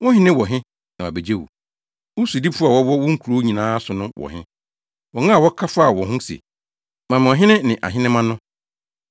Wo hene wɔ he na wabegye wo? Wo sodifo a wɔwɔ wo nkurow nyinaa so no wɔ he, wɔn a wokaa faa wɔn ho se, ‘Ma me ɔhene ne ahenemma’ no?